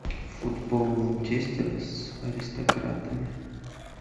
футбол манчестера с аристократами